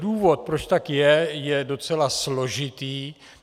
Důvod, proč tak je, je docela složitý.